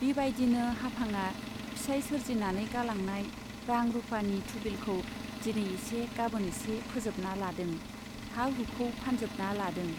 बिबाइदिनो हाफांआ फिसाइ सोरजिनानै गालांनाय रां रुपानि थुबिलखौ दिनै एसे गाबोन एसे फोजोबना लादों , हा हुखौ फानजोबना लादों।